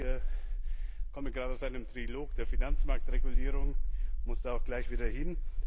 Aber ich komme gerade aus einem Trilog der Finanzmarktregulierung und muss da auch gleich wieder hin.